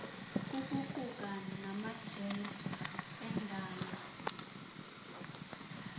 ukuquka namajelo endalo